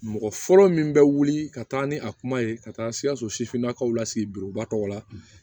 Mɔgɔ fɔlɔ min bɛ wuli ka taa ni a kuma ye ka taa sikaso sifinnakaw la sigi biribugu la